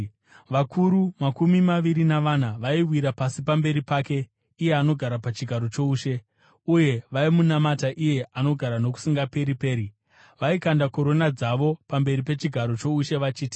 vakuru makumi maviri navana vaiwira pasi pamberi pake iye anogara pachigaro choushe, uye vaimunamata iye anogara nokusingaperi-peri. Vaikanda korona dzavo pamberi pechigaro choushe vachiti: